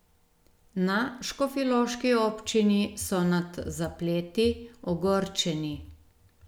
Na škofjeloški občini so nad zapleti ogorčeni.